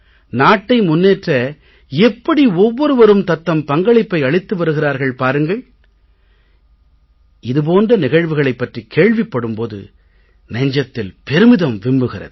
நாட்டை முன்னேற்ற எப்படி ஒவ்வொருவரும் தத்தம் பங்களிப்பை அளித்து வருகிறார்கள் பாருங்கள் இது போன்ற நிகழ்வுகளைப் பற்றிக் கேள்விப்படும் போது நெஞ்சம் பெருமிதத்தில் விம்முகிறது